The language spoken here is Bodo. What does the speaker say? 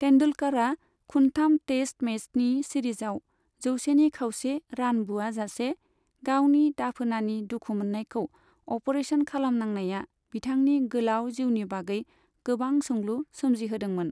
तेंदुलकरा खुनथाम टेस्ट मैचनि सिरिजआव जौसेनि खावसे रान बुआजासे, गावनि दाफोनानि दुखु मोन्नायखौ अपारेसन खालामनांनाया बिथांनि गोलाव जिउनि बागै गोबां सोंलु सोमजिहोदोंमोन।